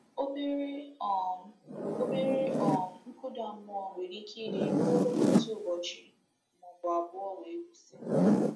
Obere um Obere um nkụda mmụọ nwere ike ịdị ruo otu ụbọchị maọbụ abụọ wee kwụsị.